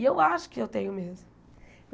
E eu acho que eu tenho mesmo.